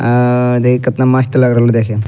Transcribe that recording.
अअअ देखि केतना मस्त लग रहलो देखेम।